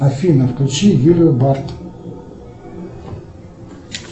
афина включи юлию бард